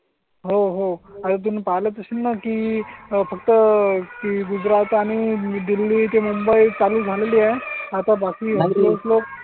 हो हो आणि तुम्ही पाहिलाच असेल ना की फक्त गुजरात आणि दिल्ली ते मुंबई चालू झालेली आहे आता बाकी. लोक